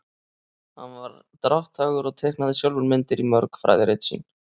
hann var drátthagur og teiknaði sjálfur myndir í mörg fræðirit sín